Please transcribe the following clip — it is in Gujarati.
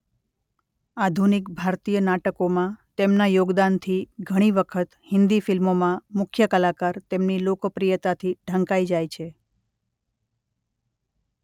આધુનિક ભારતીય નાટકોમાં તેમના યોગદાનથી ઘણી વખત હિન્દી ફિલ્મોમાં મુખ્ય કલાકાર તેમની લોકપ્રિયતાથી ઢંકાઇ જાય છે.